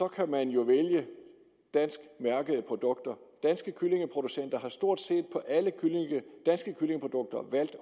kan man jo vælge danskmærkede produkter danske kyllingeproducenter har stort set på alle danske kyllingeprodukter valgt